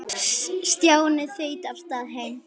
Stjáni þaut af stað heim.